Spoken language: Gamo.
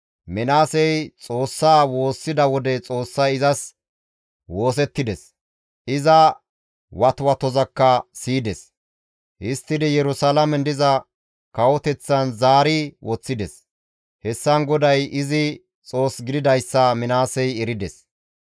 Minaasey Xoossaa woossida wode Xoossay izas woosettides; iza watwatozakka siyides; histtidi Yerusalaamen iza kawoteththan zaari woththides. Hessan GODAY izi Xoos gididayssa Minaasey erides.